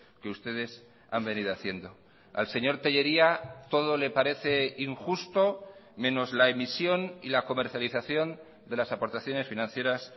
que ustedes han venido haciendo al señor tellería todo le parece injusto menos la emisión y la comercialización de las aportaciones financieras